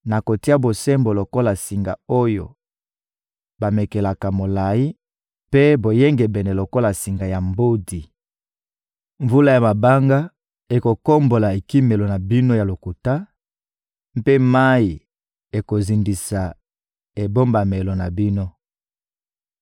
Nakotia bosembo lokola singa oyo bamekelaka molayi mpe boyengebene lokola singa ya mbodi; mvula ya mabanga ekokombola ekimelo na bino ya lokuta, mpe mayi ekozindisa ebombamelo na bino.